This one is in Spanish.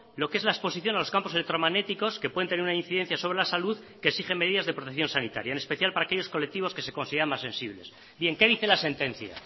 lo que es la exposición a los campos electromagnéticos que pueden tener una incidencia sobre la salud y que exigen medidas de protección sanitaria en especial para aquellos colectivos que se consideran más sensibles bien qué dice la sentencia